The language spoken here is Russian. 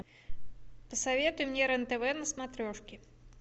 посоветуй мне рен тв на смотрешке